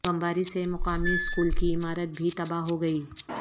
بمباری سے مقامی سکول کی عمارت بھی تباہ ہو گئی